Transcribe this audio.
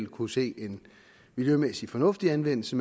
kunne se en miljømæssig fornuftig anvendelse